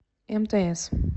мтс